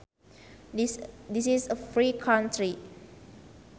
This is a free country